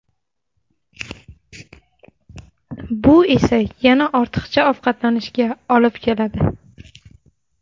Bu esa yana ortiqcha ovqatlanishga olib keladi.